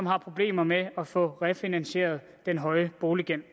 har problemer med at få refinansieret den høje boliggæld